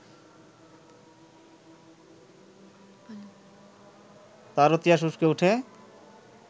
তারও তিয়াস উসকে ওঠে